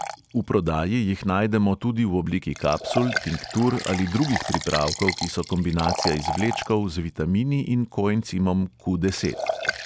V prodaji jih najdemo tudi v obliki kapsul, tinktur ali drugih pripravkov, ki so kombinacija izvlečkov z vitamini in koencimom q deset.